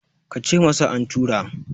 ka ce masa an tura!